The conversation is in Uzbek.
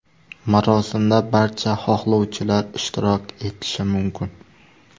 Marosimda barcha xohlovchilar ishtirok etishi mumkin.